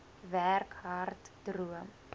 werk hard droom